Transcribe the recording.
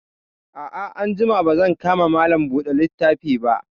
A'a, anjima ba zan ka ma Malam buɗe littafi ba